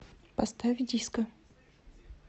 поставь диско